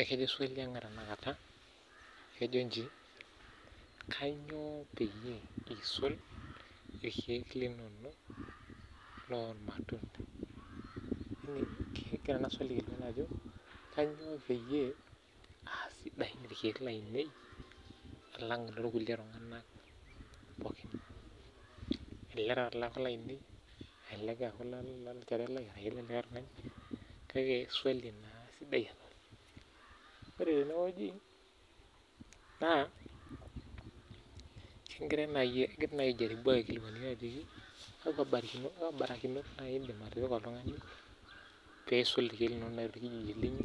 Egira aiparu ajo kanyoo peyie aasidai ilkiek lainei alang iloo kulie tung'anak pooki n Elelek eaku ilaninei elelek eeku ilolchorelai kake swali naa sidai ena Ore tene naa kegirai nai aiparie yiok imbarikinot naindim atipika oltungani peiisul ilkiek linyi